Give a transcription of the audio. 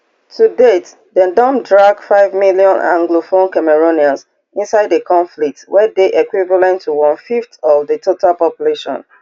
to date dem don drag five million anglophone cameroonians inside di conflict wey dey equivalent to onefifth of di total population